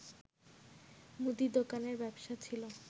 মুদি দোকানের ব্যবসা ছিল